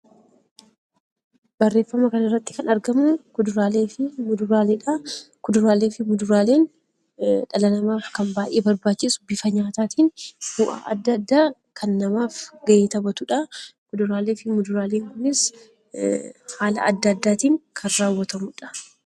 Barreeffama kana irratti kan argamu kuduraalee fi muduraaleedha. Kuduraalee fi muduraaleen dhala namaaf kan baay'e barbaachisu bifa nyaataatiin bu'aa adda addaa kan namaaf gahee taphatudha. Kuduraalee fi muduraaleen kunis, haala adda addaatiin kan raawwatamudha.